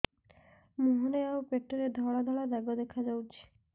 ମୁହଁରେ ଆଉ ପେଟରେ ଧଳା ଧଳା ଦାଗ ଦେଖାଯାଉଛି